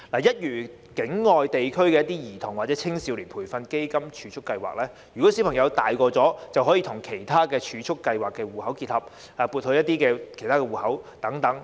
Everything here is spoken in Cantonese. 一如境外地區的一些兒童或青少年培育基金儲備計劃，當小朋友長大時，基金便可與其他儲蓄計劃的戶口結合，撥入其他戶口內。